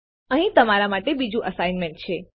અહીં તમારા માટે બીજું અસાઇનમેન્ટ છે